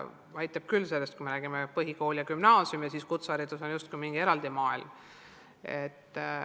Aitab juba sellest, et me räägime, et põhikool ja gümnaasium ja kutseharidus on justkui mingid eraldi maailmad.